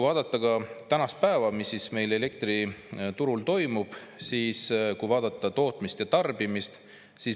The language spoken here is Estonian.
Vaatame tänast päeva, seda, mis meil elektriturul toimub, tootmist ja tarbimist.